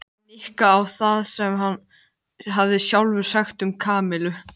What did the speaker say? Nikka á það sem hann hafði sjálfur sagt um Kamillu.